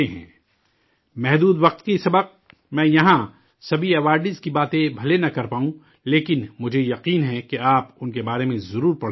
وقت محدود ہونے کی وجہ سے، میں یہاں سبھی انعام یافتگان کی باتیں بھلے ہی نہ کر پاؤں، لیکن مجھے یقین ہے کہ آپ ان کے بارے میں ضرور پڑھیں گے